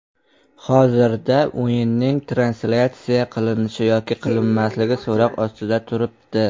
Hozircha o‘yinning translyatsiya qilinish yoki qilinmasligi so‘roq ostida turibdi.